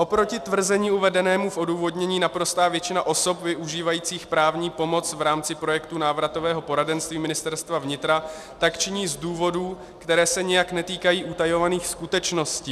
Oproti tvrzení uvedenému v odůvodnění naprostá většina osob využívajících právní pomoc v rámci projektu návratového poradenství Ministerstva vnitra tak činí z důvodů, které se nijak netýkají utajovaných skutečností.